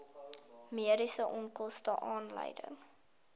mediese onkoste aanleiding